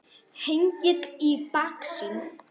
Hengill í baksýn.